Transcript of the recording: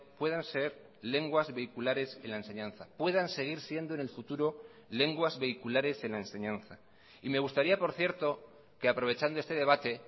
puedan ser lenguas vehiculares en la enseñanza puedan seguir siendo en el futuro lenguas vehiculares en la enseñanza y me gustaría por cierto que aprovechando este debate